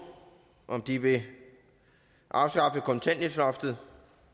om de vil afskaffe kontanthjælpsloftet